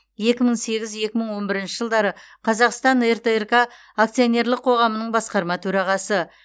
екі мың сегіз екі мың он бірінші жылдары қазақстан ртрк акционерлік қоғамының басқарма төрағасы